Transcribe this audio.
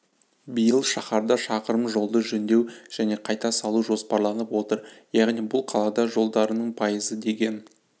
биыл шаһарда шақырым жолды жөндеу және қайта салу жоспарланып отыр яғни бұл қала жолдарының пайызы деген